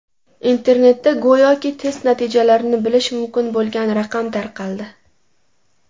Internetda go‘yoki test natijalarini bilish mumkin bo‘lgan raqam tarqaldi.